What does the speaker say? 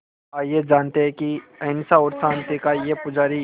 आइए जानते हैं कि अहिंसा और शांति का ये पुजारी